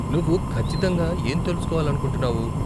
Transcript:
నువ్వు ఖచ్చితంగా ఏం తెలుసుకోవాలనుకుంటున్నావు?